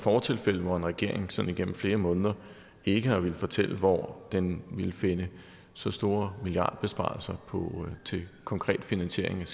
fortilfælde hvor en regering sådan igennem flere måneder ikke har villet fortælle hvor den ville finde så store milliardbesparelser til konkret finansiering